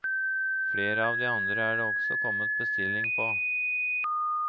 Flere av de andre er det også kommet bestilling på.